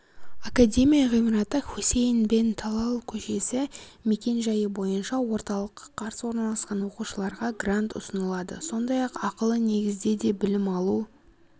академия ғимараты хусейн бен талал көшесі мекен жайы бойынша орталыққа қарсы орналасқан оқушыларға грант ұсынылады сондай-ақ ақылы негізде де білім алу